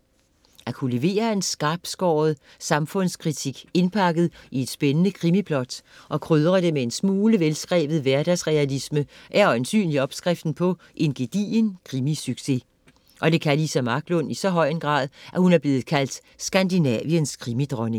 At kunne levere en skarpskåret samfundskritik indpakket i et spændende krimiplot og krydre det med en smule velskrevet hverdagsrealisme er øjensynligt opskriften på en gedigen krimisucces. Og det kan Liza Marklund i så høj grad, at hun er blevet kaldt Skandinaviens krimidronning.